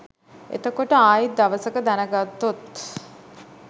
එතකොට ආයිත් දවසක දැනගත්තොත්